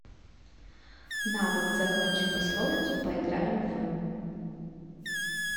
навык закончи пословицу поиграем в